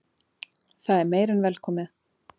Það er meira en velkomið.